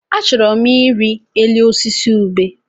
Achọrọ m ịrị elu osisi ubé.